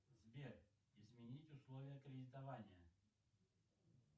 сбер изменить условия кредитования